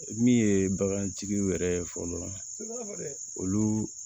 Min ye bagantigiw yɛrɛ ye fɔlɔ